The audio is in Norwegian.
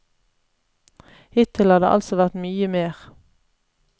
Hittil har det altså vært mye mer.